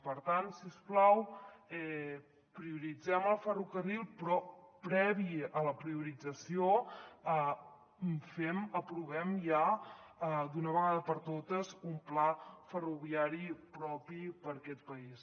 per tant si us plau prioritzem el ferrocarril però previ a la priorització aprovem ja d’una vegada per totes un pla ferroviari propi per a aquest país